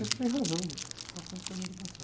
Você tem razão, só conta coisa do passado.